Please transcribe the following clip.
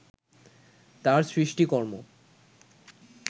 তাঁর সৃষ্টিকর্ম